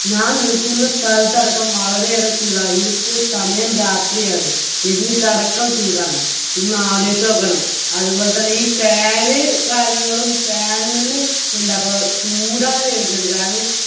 ഞാൻ നിൽക്കുന്ന സ്ഥാലത്തടക്കം വളരെയേറെ ചൂടാ ഇതിപ്പോൾ സമയം രാത്രിയാണ് എന്നിട്ടടക്കം ചൂടാണ് ഒന്ന് ആലോയിച്ചു നോക്കണം അതുപോലെതന്നെ ഈ fan കാര്യങ്ങളും fan ൽനിന്ന് എന്താപ്പോ ചൂടാന്ന് വരുന്നത് കാരണം